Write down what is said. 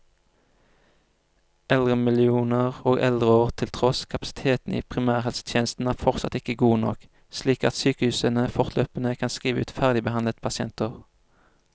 Eldremillioner og eldreår til tross, kapasiteten i primærhelsetjenesten er fortsatt ikke god nok, slik at sykehusene fortløpende kan skrive ut ferdigbehandlede pasienter.